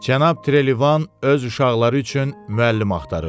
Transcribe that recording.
Cənab Trelivan öz uşaqları üçün müəllim axtarır.